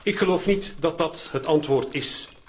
Ik geloof niet dat dat het antwoord is.